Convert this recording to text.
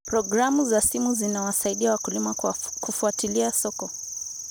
Programu za simu zinawasaidia wakulima kufuatilia soko.